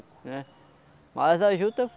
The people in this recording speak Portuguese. né? Mas a juta